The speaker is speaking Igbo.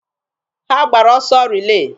Ha gbara ọsọ rilee.